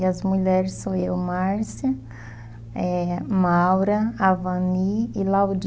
E as mulheres são eu, Márcia, eh, Maura, Avani e Laudi.